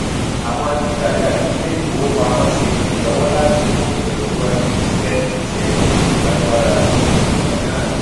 àwọn títajà ní ilé ìfowópamọ ṣe ìrànlọwọ láti mú ìlọsíwájú iṣẹ iṣẹ tí kò lágbára ti ọjà náà